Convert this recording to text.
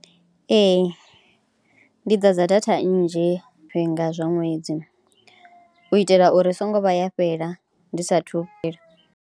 Ee ndi ḓadza data nnzhi zwifhinga zwa ṅwedzi u itela uri songo vha ya fhela ndi saathu .